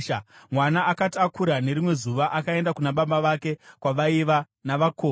Mwana akati akura, nerimwe zuva akaenda kuna baba vake, kwavaiva navakohwi.